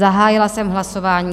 Zahájila jsem hlasování.